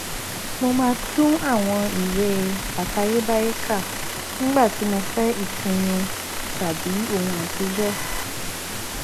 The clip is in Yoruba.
mo máa tún àwọn ìwé àtayébáyé kà nígbà tí mo fẹ ìtùnú tàbí ohun àtijọ